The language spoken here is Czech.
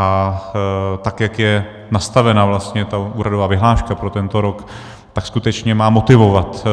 A tak jak je nastavena vlastně ta úhradová vyhláška pro tento rok, tak skutečně má motivovat